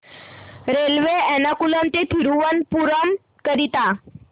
railway Ernakulam ते थिरुवनंतपुरम करीता